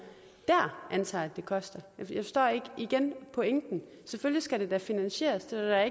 dér antager at det koster jeg forstår igen pointen selvfølgelig skal det da finansieres det er der